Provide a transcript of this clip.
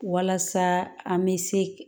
Walasa an bɛ se